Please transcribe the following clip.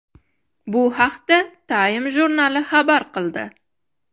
Bu haqda Time jurnali xabar qildi .